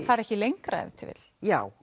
fari ekki lengra ef til vill já